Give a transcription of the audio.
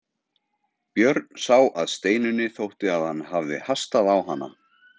Björn sá að Steinunni þótti að hann hafði hastað á hana.